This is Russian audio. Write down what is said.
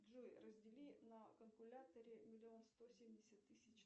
джой раздели на калькуляторе миллион сто семьдесят тысяч